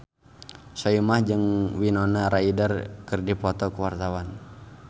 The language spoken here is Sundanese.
Soimah jeung Winona Ryder keur dipoto ku wartawan